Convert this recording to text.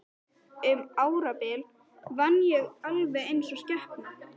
Um árabil vann ég alveg eins og skepna.